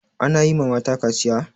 Ana yi ma mata kaciya?